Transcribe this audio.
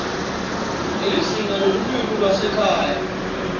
nelizinga lelulwimi lwasekhaya